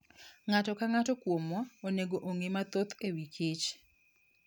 Ng'ato ka ng'ato kuomwa onego ong'e mathoth e wi kich .